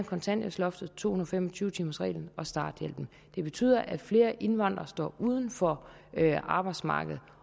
kontanthjælpsloftet to og fem og tyve timersreglen og starthjælpen betyder at flere indvandrere står uden for arbejdsmarkedet